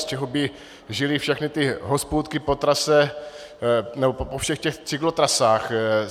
Z čeho by žily všechny ty hospůdky po trase, nebo po všech těch cyklotrasách?